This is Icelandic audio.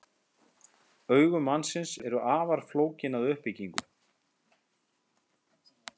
Augu mannsins eru afar flókin að uppbyggingu.